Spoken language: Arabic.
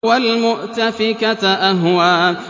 وَالْمُؤْتَفِكَةَ أَهْوَىٰ